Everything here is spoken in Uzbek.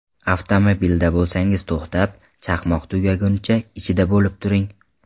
Avtomobilda bo‘lsangiz to‘xtab, chaqmoq tugagunicha ichida bo‘lib turing.